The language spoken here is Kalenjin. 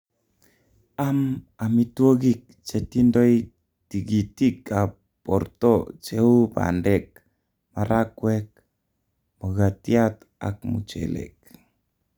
am amitwogik chetindoi tigitik ap porto cheu pandeek, marakwek, mugatiat ak muchelek